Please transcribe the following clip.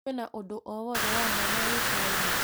Kwĩna ũndũ o wothe wa mwanya Gĩcũa-inĩ ?